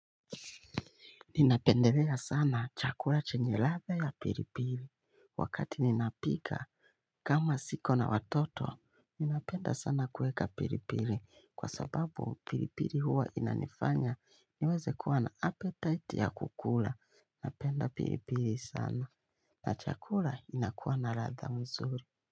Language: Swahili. Ninapendelea sana chakula chenye ladha ya pilipili wakati ninapika. Kama sina watoto ninapenda sana kuweka pilipili kwa sababu pilipili huwa inanifanya niweze kuwa na apetite ya kukula. Ninapenda pilipili sana na chakula inakuwa na ladha mzuri.